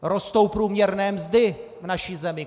Rostou průměrné mzdy v naší zemi.